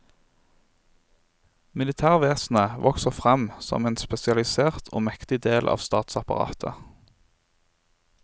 Militærvesenet vokser fram som en spesialisert og mektig del av statsapparatet.